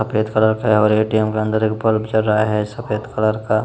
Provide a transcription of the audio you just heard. यहाँ पे एक सड़क है और ए.टी.एम. के अंदर एक बल्ब जल रहा है सफेद कलर का --